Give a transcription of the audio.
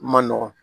Man nɔgɔn